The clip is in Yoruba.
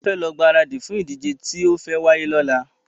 A fẹ lọ gbáradì fún ìdíje tí o fe wáyé ní ọ̀la